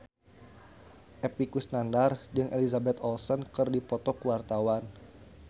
Epy Kusnandar jeung Elizabeth Olsen keur dipoto ku wartawan